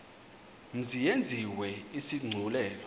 mzi yenziwe isigculelo